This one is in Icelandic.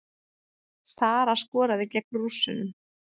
Sara skoraði gegn Rússunum